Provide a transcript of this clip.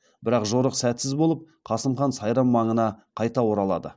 бірақ жорық сәтсіз болып қасым хан сайрам маңына қайта оралады